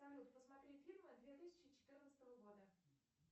салют посмотри фильмы две тысячи четырнадцатого года